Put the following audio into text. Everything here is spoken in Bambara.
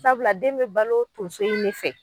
Sabula den be balo tunso in de fɛ.